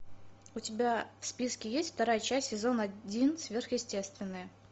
у тебя в списке есть вторая часть сезон один сверхъестественное